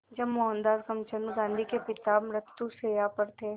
जब मोहनदास करमचंद गांधी के पिता मृत्युशैया पर थे